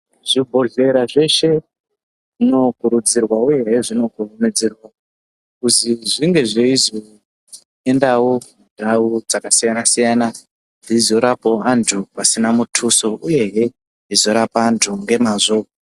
Zvibhohlera zveshe zvinokurudzirwa uyehe zvinokurumidzirwa kuzi zvinge zveizoenda mundau dzakasiyana-siyana dzeizorapawo antu pasina mutuso uyehe eizorapa antu ngemwazvo.